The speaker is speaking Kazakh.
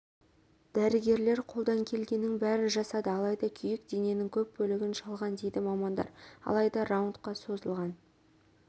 дәрігерлер қолдан келгеннің бәрін жасады алайда күйік дененің көп бөлігін шалған дейді мамандар алайда раундқа созылған